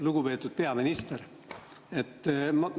Lugupeetud peaminister!